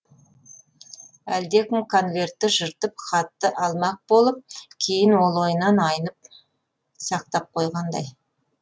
әлдекім конвертті жыртып хатты алмақ болып кейін ол ойынан айнып сақтап қойғандай